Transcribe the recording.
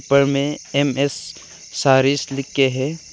ऊपर में एम_एस सारिस लिख के है।